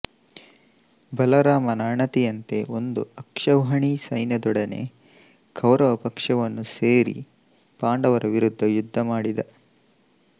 ಬಲರಾಮನ ಅಣತಿಯಂತೆ ಒಂದು ಅಕ್ಷೌಹಿಣೀ ಸೈನ್ಯದೊಡನೆ ಕೌರವ ಪಕ್ಷವನ್ನು ಸೇರಿ ಪಾಂಡವರ ವಿರುದ್ಧ ಯುದ್ಧ ಮಾಡಿದ